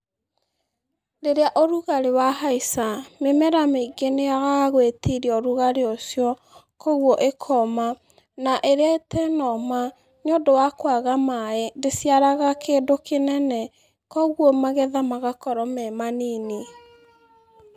Rĩrĩa ũrugarĩ wahaica mĩmera mĩingĩ nĩ yagaga gwĩtiria ũrugarĩ ucio, kogwo ĩkoma. Na ĩrĩa ĩtanoma, nĩ ũndũ wa kwaga maaĩ ndĩciaraga kĩndũ kĩnene. Kogwo magetha magakorwo me manini.